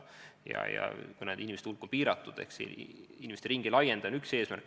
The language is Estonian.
Ja kuna nende inimeste hulk on piiratud, siis selle ringi laiendamine on üks eesmärk.